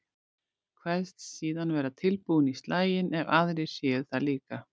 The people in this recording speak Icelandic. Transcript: Kveðst síðan vera tilbúinn í slaginn ef aðrir séu það líka.